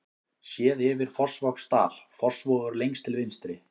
Séð yfir Fossvogsdal, Fossvogur lengst til vinstri.